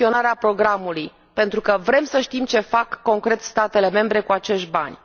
în gestionarea programului, pentru că vrem să știm ce fac concret statele membre cu acești bani